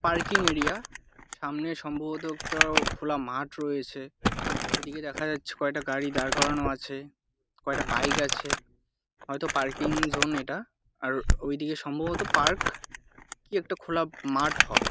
Parking area সামনে সম্ভবত একটা খোলা মাঠ রয়েছে। এদিকে দেখা যাচ্ছে কয়েকটা গাড়ি দাঁড় করানো আছে কয়েকটা বাইক আছে হয়তো পার্কিং জোন এটা। আর ওইদিকে সম্ভবত পার্ক কি খোলা একটা মাঠ হবে।